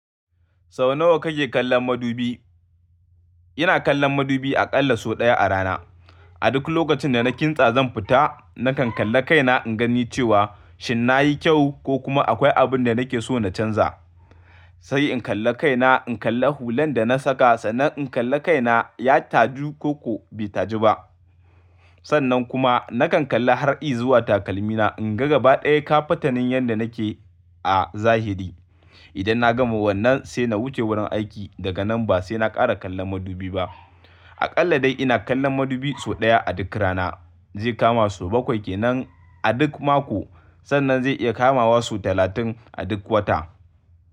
Sau nawa kake kallon madubi? Ina kallon madubi aƙalla sau ɗaya a rana. A duk lokacin da na kintsa zan fita, nakan kalla kaina in gani cewa shin nayi kyau ko kuma akwai abun da nake so na canza. Sai in kalla kaina, in kalla hulan da na saka sannan in kalla kaina ya taju koko bai taju ba. Sannan kuma nakan kalla har i zuwa takalmina in ga gaba ɗaya kafatanin yanda nake a zahiri. Idan na gama wannan sai na wuce wurin aiki. Daga nan ba sai na ƙara kallon madubi ba. Aƙalla dai ina kallon madubi sau ɗaya a duk rana. Zai kama sau bakwai kenan a duk mako sannan zai iya kamawa sau talatin a duk wata.